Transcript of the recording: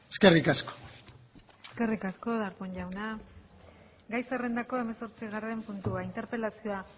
eskerrik asko eskerrik asko darpón jauna gai zerrendako hamazortzigarren puntua interpelazioa